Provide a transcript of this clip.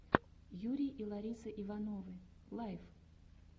юрий и лариса ивановы лайв